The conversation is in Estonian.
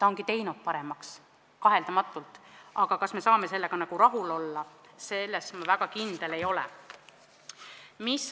Ta ongi kaheldamatult seda paremaks teinud, aga kas me saame sellega rahul olla, selles ma väga kindel ei ole.